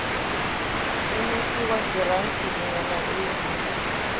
imisiwa giranthi iṋwe na iṋwe